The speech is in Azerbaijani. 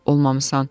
Olmamısan.